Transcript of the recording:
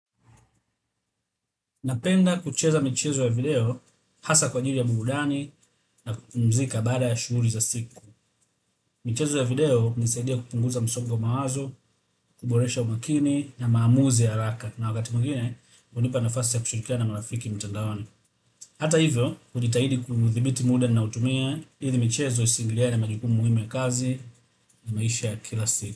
Napenda kucheza michezo ya video hasa kwa ajili ya burudani na kupumzika baada ya shughuli za siku. Michezo ya video hunisaidia kupunguza msongo wa mawazo, kuboresha umakini na maamuzi ya haraka. Na wakati mwingine, hunipa nafasi ya kushirikiana na marafiki mtandaoni. Hata hivyo, hujitahidi kuthibiti muda ninaotumia, ili michezo isingiliane majukumu muhimu ya kazi na maisha ya kila siku.